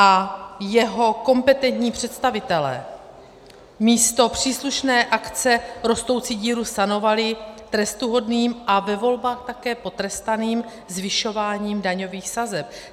A jeho kompetentní představitelé místo příslušné akce rostoucí díru sanovali trestuhodným a ve volbách také potrestaným zvyšováním daňových sazeb.